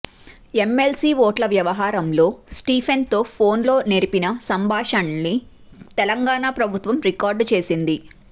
MLC ఓట్ల వ్యవహారంలో స్టీఫెన్సన్తో ఫోన్లో నెరిపిన సంభాషణల్ని తెలంగాణ ప్రభుత్వం రికార్డు చేసింది